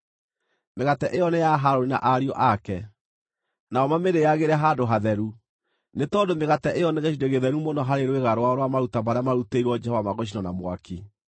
Mĩgate ĩyo nĩ ya Harũni na ariũ ake, nao mamĩrĩagĩre handũ hatheru, nĩ tondũ mĩgate ĩyo nĩ gĩcunjĩ gĩtheru mũno harĩ rwĩga rwao rwa maruta marĩa marutĩirwo Jehova ma gũcinwo na mwaki.”